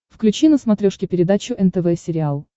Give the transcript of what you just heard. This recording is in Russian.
включи на смотрешке передачу нтв сериал